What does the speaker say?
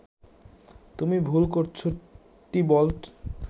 তুমি ভুল করছ টিবল্ট